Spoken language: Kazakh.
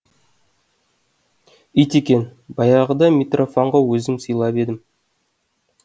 ит екен баяғыда митрофанға өзім сыйлап едім